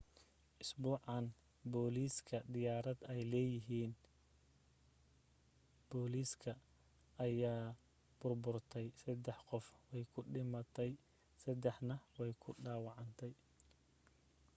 isbuucan bilowgiisa diyaarad ay leyahin boliska ayaa burburtay sadex qof way ku dhimatay sadexna way ku dhawacantay